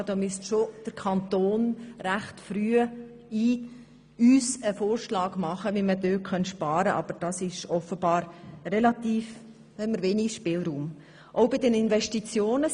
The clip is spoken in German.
Der Kanton müsste uns recht früh einen Vorschlag dazu unterbreiten, was man einsparen könnte, aber offenbar ist der Spielraum hier gering.